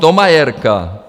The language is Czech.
Thomayerka.